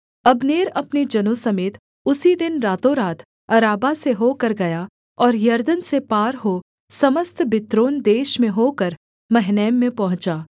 Abner अपने जनों समेत उसी दिन रातोंरात अराबा से होकर गया और यरदन के पार हो समस्त बित्रोन देश में होकर महनैम में पहुँचा